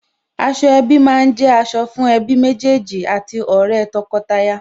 Aṣọ ẹbí má ń jẹ́ aṣọ fún ẹbí méjèèjì àti ọ̀rẹ́ tọkọtaya